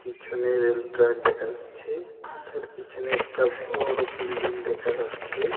পিছনে rail track দেখা যাচ্ছে তার পিছনে একটা বড় বিল্ডিং দেখা যাচ্ছে .